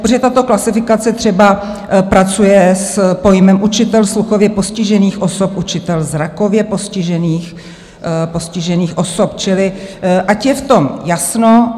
Protože tato klasifikace třeba pracuje s pojmem učitel sluchově postižených osob, učitel zrakově postižených osob, čili ať je v tom jasno.